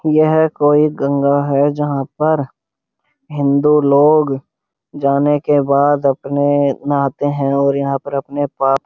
यह कोई गंगा है जहां पर हिन्दू लोग जाने के बाद अपने नहाते है और यहां पर अपने पा --